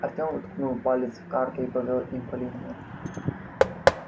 артём уткнул палец в карту и повёл им по линиям